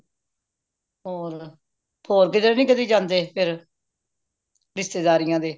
ਹੋਰ ਹੋਰ ਕਿਧਰੇ ਨਹੀਂ ਕਦੀ ਜਾਂਦੇ ਫੇਰ ਰਿਸ਼ਤੇਦਾਰੀਆਂ ਦੇ